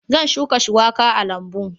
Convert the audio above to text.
Zan shuka shuwaka a lambu